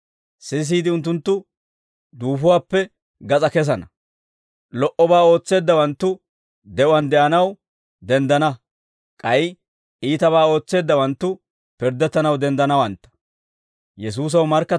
Sisiide unttunttu duufuwaappe gas'aa kesana; lo"obaa ootseeddawanttu de'uwaan de'anaw denddana; k'ay iitabaa ootseeddaawanttu pirddettanaw denddanawantta.